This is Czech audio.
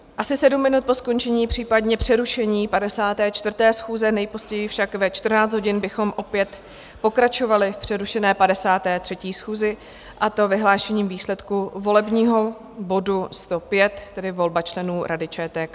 Asi 7 minut po skončení, případně přerušení 54. schůze, nejpozději však ve 14 hodin, bychom opět pokračovali v přerušené 53. schůzi, a to vyhlášením výsledků volebního bodu 105, tedy volba členů Rady ČTK.